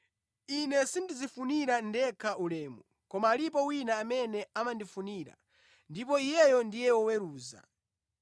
Ine sindidzifunira ndekha ulemu; koma alipo wina amene amandifunira, ndipo Iyeyo ndiye woweruza.